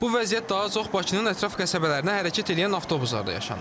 Bu vəziyyət daha çox Bakının ətraf qəsəbələrinə hərəkət eləyən avtobuslarda yaşanır.